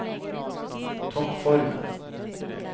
toppformen